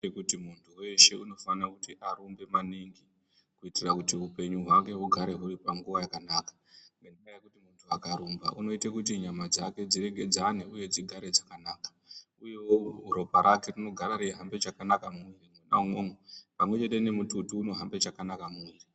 ....kuti muntu weshe unofana kuti arumbe maningi kuitira kuti upenyu hwake hugare huri panguva yakanaka. Ngendaa yekuti muntu akarumba unoite kuti nyama dzake dziregedzane uye dzigare dzakanaka, uyewo ropa rake rinogara reihambe chakanaka mumwiiri mwona imwomwo pamwechete nemututu unohambe chakanaka mumwiiri.